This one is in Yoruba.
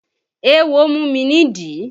Éwo mú mi nídìí